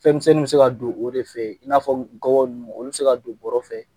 Fɛn misɛnnin be se ka don o de fɛ i n'a fɔ gɔbɔn nunnu olu be se ka don bɔrɔ fɛ.